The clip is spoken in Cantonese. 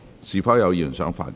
是否有議員想發言？